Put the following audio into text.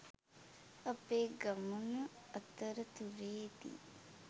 අපේ ගමන අතරතුරේදී